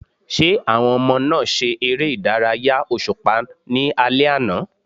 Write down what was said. Ṣé àwọn ọmọ náà ṣe ère ìdárayá òṣùpá ní alẹ́ àná?